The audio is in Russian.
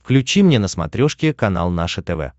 включи мне на смотрешке канал наше тв